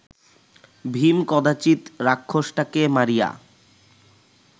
ভীম কদাচিৎ রাক্ষসটাকে মারিয়া